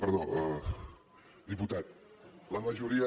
perdó diputat la majoria